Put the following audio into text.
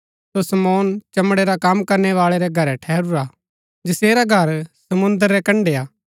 सो शमौन चमड़े रा कम करणै बाळै रै घरै ठहरूरा हा जैसेरा घर समुंद्र रै कण्ड़ै हा